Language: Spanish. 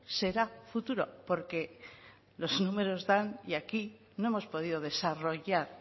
será futuro porque los números dan y aquí no hemos podido desarrollar